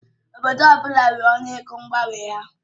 Obodo ọ bụla nwere ọnụ ego mgbanwe ha.